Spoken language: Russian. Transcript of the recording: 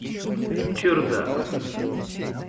чердак